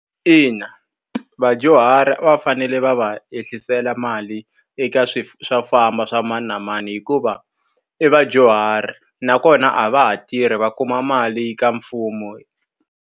Ina vadyuhari va fanele va va ehliseliwa mali eka swilo swo famba swa mani na mani hikuva, i vadyuhari nakona a va ha tirhi va kuma mali eka mfumo.